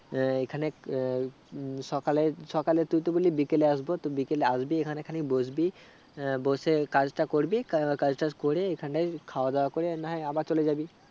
এ খানিক এই সকালে সাকলে তুই তো বললি বিকেলে আসবো তো বিকেলে আসবি এখানে খানিক বসবি বসে কাজটা করবি কাকাজটা করে এখানে খাওয়া দাওয়া করে নাহয় আবার চলেজাবি